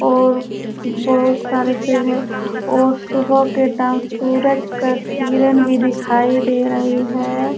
और बोहोत सारे पेड़ हैं और सुबह का टाइम सूरज का किरण भी दिखाई दे रहे हैं।